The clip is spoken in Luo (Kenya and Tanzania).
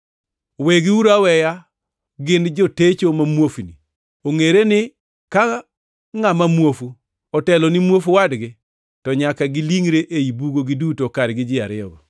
Wegiuru aweya; gin jotecho ma muofni. Ongʼere ni ka ngʼama muofu otelo ne muofu wadgi to nyaka gilingʼre ei bugo giduto kargi ji ariyogo.”